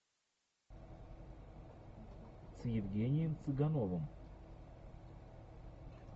с евгением цыгановым